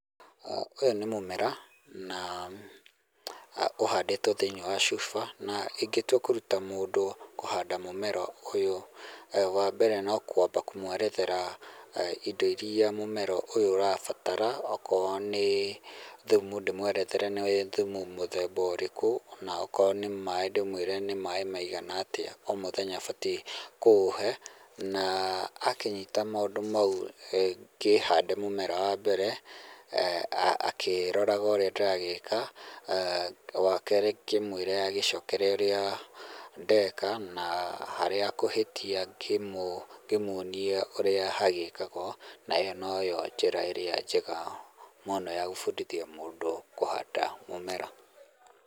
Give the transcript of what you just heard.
Ũyũ nĩ mũmera na ũhandĩtwo thĩiniĩ wa cuba na ingĩtua kũruta mũndũ kũhanda mũmera ũyũ, wa mbere no kwamba kũmwerethera indo iria mũmera ũyũ ũrabatara, akorwo nĩ thumu ndĩmwerethere nĩ thumu mũthemba ũrĩkũ na akorwo nĩ maaĩ ndĩmwĩre nĩ maaĩ maigana atĩa o mũthenya abatiĩ kũũhe na akĩnyita maũndũ mau ngĩhande mũmera wa mbere akĩroraga ũrĩa ndĩragĩka, wakerĩ ngĩmwĩre agĩcokere ũrĩa ndeka na harĩa ekũhĩtia ngĩmuonie ũrĩa hagĩkagwo na ĩyo noyo njĩra ĩrĩa njega mũno ya gũbundithia mũndũ kũhanda mũmera.